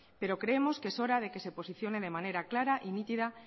pero creemos que es hora de que se posicione de manera clara y nítida